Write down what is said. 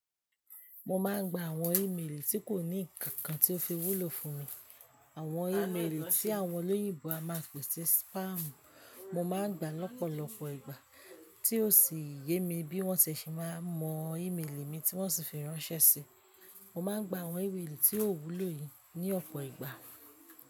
Mo máà ń gba àwọn ímélì tí kò ní ǹnkan kan tí ó fi wúlò fún mi. Àwọn ímélì tí àwọn olóyìnbo a máà ń pèsè spamu. Mo máa ń gba lọ́pọ̀lọpọ̀ ìgbà tí ó sì yé mi bí wọ́n ṣe si máa ń mọ ímélì mi tí wọ́n sì fi ránṣẹ́ si. Mo máa ń gba àwọn ímélì tí ò wúlò yìí ní ọ̀pọ̀ ìgbà.